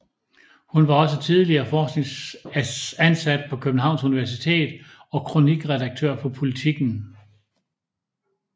Hun var også tidligere forskningsansat på Københavns Universitet og kronikredaktør på Politiken